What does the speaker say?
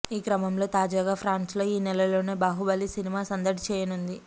ఈ క్రమంలో తాజాగా ఫ్రాన్స్లో ఈనెలలోనే బాహుబలి సినిమా సందడి చేయనుంది